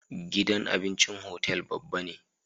Gidan abincin hotel babba ne